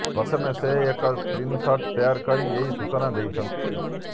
ପ୍ରଥମେ ସେ ଏକ ସ୍କ୍ରିନଶଟ୍ ଶେୟାର କରି ଏହି ସୂଚନା ଦେଇଛନ୍ତି